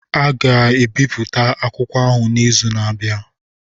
A ga-ebipụta akwụkwọ ahụ n'izu na-abịa.